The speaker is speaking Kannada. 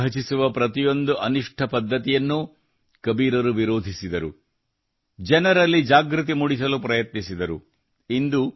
ಸಮಾಜವನ್ನು ವಿಭಜಿಸುವ ಪ್ರತಿಯೊಂದು ಅನಿಷ್ಠ ಪದ್ಧತಿಯನ್ನೂ ಕಬೀರರು ವಿರೋಧಿಸಿದರು ಜನರಲ್ಲಿ ಜಾಗೃತಿ ಮೂಡಿಸಲು ಪ್ರಯತ್ನಿಸಿದರು